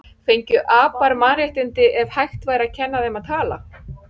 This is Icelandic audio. Fengju apar mannréttindi ef hægt væri að kenna þeim að tala?